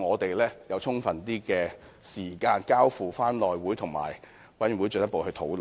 我們有更充分的時間交付內務委員會及相關委員會進一步討論。